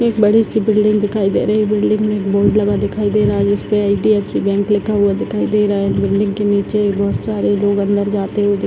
एक बड़ी-सी बिल्डिंग दिखाई दे रही बिल्डिंग में एक बोर्ड लगा दिखाई दे रहा जिसपे एच.डी.एफ.सी. बैंक लिखा हुआ दिखाई दे रहा है बिल्डिंग के नीचे बहोत सारे लोग अंदर जाते हुए दि --